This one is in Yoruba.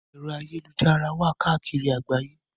Ẹ̀rọ ayélujára wà káàkiri àgbáyé.